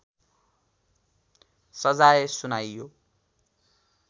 सजाय सुनाइयो